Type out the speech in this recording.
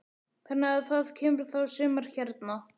Þannig að það kemur þá sumar hérna.